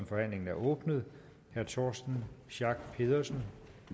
forhandlingen er åbnet herre torsten schack pedersen